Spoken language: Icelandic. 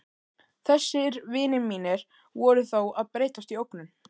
Þessir vinir mínir voru þó að breytast í ógnun.